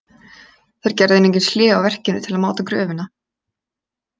Þeir gerðu einungis hlé á verkinu til að máta gröfina.